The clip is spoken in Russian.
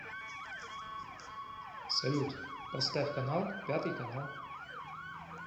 салют поставь канал пятый канал